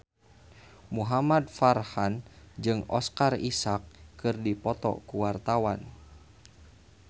Muhamad Farhan jeung Oscar Isaac keur dipoto ku wartawan